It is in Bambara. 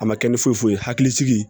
A ma kɛ ni foyi foyi ye hakilisigi